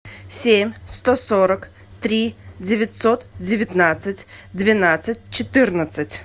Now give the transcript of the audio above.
семь сто сорок три девятьсот девятнадцать двенадцать четырнадцать